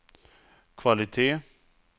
kvalitet